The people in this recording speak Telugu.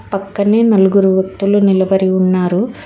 పక్కనే నలుగురు వత్తులు నిలబడి ఉన్నారు.